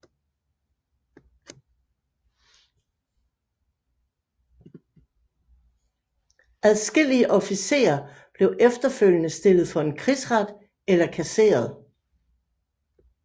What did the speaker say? Adskillige officerer blev efterfølgende stillet for en krigsret eller kasseret